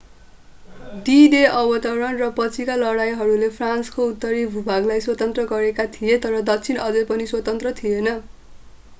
D-Day अवतरण र पछिका लडाइँहरूले फ्रान्सको उत्तरी भूभागलाई स्वतन्त्र गरेका थिए तर दक्षिण अझै पनि स्वतन्त्र थिएन